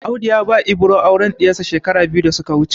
Audu ya ba Ibro auren ɗiyarsa shekaru biyu da suka wuce.